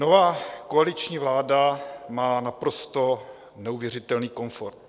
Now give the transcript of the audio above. Nová koaliční vláda má naprosto neuvěřitelný komfort.